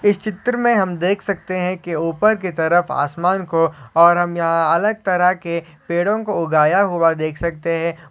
इस चित्र में हम देख सकते हैं की ऊपर की तरफ आसमान को और हम यहां अलग तरह के पेड़ों को उगाया हुआ देख सकते हैं।